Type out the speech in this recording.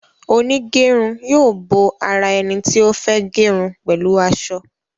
Onigerun yóò bó àrà eni tí o fè gerun pẹlu asọ.